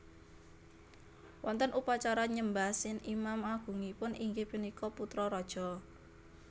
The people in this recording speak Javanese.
Wonten upacara nyembah Sin imam agungipun inggih punika putra raja